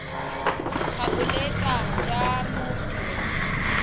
ga bolwetse jwa mo tirong